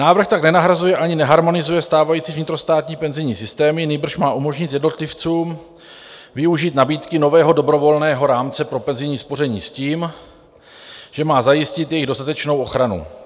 Návrh tak nenahrazuje ani neharmonizuje stávající vnitrostátní penzijní systémy, nýbrž má umožnit jednotlivcům využít nabídky nového dobrovolného rámce pro penzijní spoření s tím, že má zajistit jejich dostatečnou ochranu.